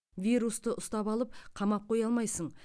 вирусты ұстап алып қамап қоя алмайсың